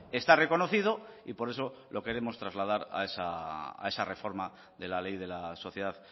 está reconocido y por eso lo queremos trasladar a esa reforma de la ley de la sociedad